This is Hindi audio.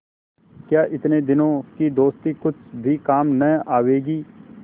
क्या इतने दिनों की दोस्ती कुछ भी काम न आवेगी